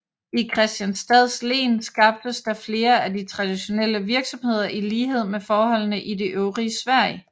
I Kristianstads len skabtes der flere af de traditionelle virksomheder i lighed med forholdene i det øvrige Sverige